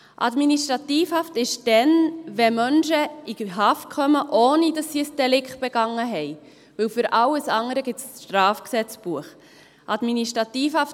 Administrativhaft ist es dann, wenn Menschen in Haft kommen, ohne dass sie ein Delikt begangen haben, denn für alles andere gibt es das Schweizerische Strafgesetzbuch (StGB).